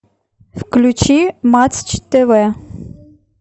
включи матч тв